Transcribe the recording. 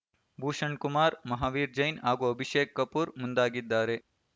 ಭೂಷಣ್ ಕುಮಾರ್ ಮಹಾವೀರ್ ಜೈನ್ ಹಾಗೂ ಅಭಿಷೇಕ್ ಕಪೂರ್ ಮುಂದಾಗಿದ್ದಾರೆ